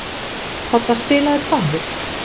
Todda, spilaðu tónlist.